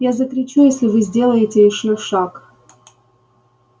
я закричу если вы сделаете ещё шаг